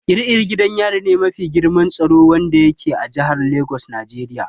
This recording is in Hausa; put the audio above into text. Ƙiri ƙiri gidan yari me mafi girman tsaro wanda yake a jihar Lagos Nigeria.